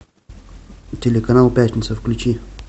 телеканал пятница включи